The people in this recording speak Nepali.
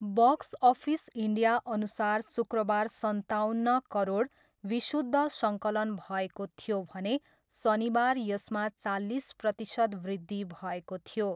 बक्स अफिस इन्डियाअनुसार शुक्रबार सन्ताउन्न करोड विशुद्ध सङ्कलन भएको थियो भने शनिबार यसमा चालिस प्रतिशत वृद्धि भएको थियो।